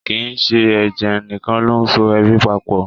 Kì í ṣe ẹ̀jẹ̀ nìkan ló so ẹbí papọ̀